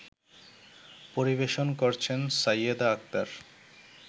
পরিবেশন করছেন সাইয়েদা আক্তার